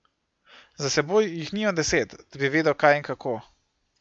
Za seboj jih nimam deset, da bi vedel, kaj in kako.